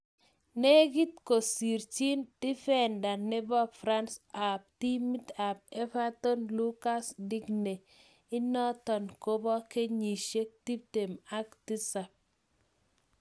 Negit kosirchin defender nepo france ak timit ap Everton lucas digne inoton kopo kenyisiek 27.